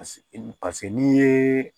Paseke n'i ye